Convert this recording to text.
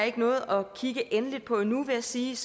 ikke nået at kigge endeligt på endnu vil jeg sige